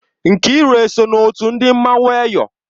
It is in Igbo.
Nkiru o so na otu ndị mmanwụ Eyọ?